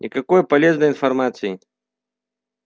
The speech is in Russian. никакой полезной информации